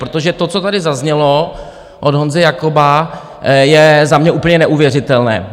Protože to, co tady zaznělo od Honzy Jakoba, je za mě úplně neuvěřitelné.